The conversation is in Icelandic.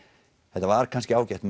þetta var kannski ágætt